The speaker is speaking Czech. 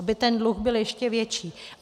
Aby ten dluh byl ještě větší?